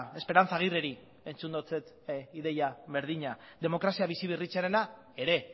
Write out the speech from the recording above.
esperanza aguirreri entzun diot ideia berdina demokrazia biziberritzearena ere